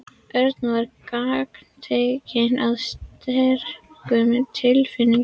Örn var gagntekinn af sterkum tilfinningum.